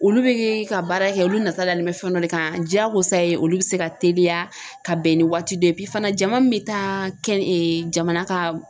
Olu bɛ ka baara kɛ olu nata dalen bɛ fɛn dɔ de kan diyagosa ye olu bɛ se ka teliya ka bɛn ni waati dɔ ye fana jama min bɛ taa kɛn jamana ka